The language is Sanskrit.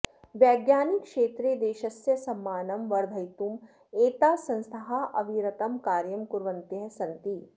वैज्ञानिकक्षेत्रे देशस्य सम्माननं वर्धयितुम् एताः संस्थाः अविरतं कार्यं कुर्वन्त्यः सन्ति